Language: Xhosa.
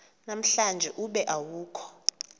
namhlanje ube awukho